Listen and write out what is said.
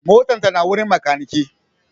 motan ta na wurin makaniki